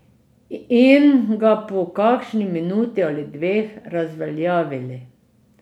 In ga po kakšni minuti ali dveh razveljavili.